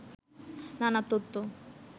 নানা তথ্য